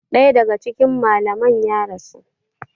Daya daga cikin malaman ya rasu.